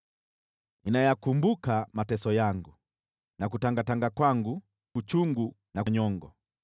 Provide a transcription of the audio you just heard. Nayakumbuka mateso yangu na kutangatanga kwangu, uchungu na nyongo.